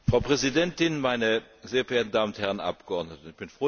Frau Präsidentin, meine sehr verehrten Damen und Herren Abgeordnete!